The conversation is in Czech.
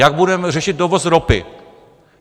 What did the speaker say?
Jak budeme řešit dovoz ropy?